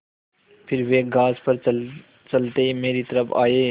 फिर वे घास पर चलते मेरी तरफ़ आये